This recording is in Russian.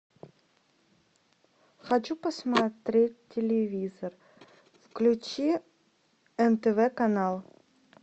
хочу посмотреть телевизор включи нтв канал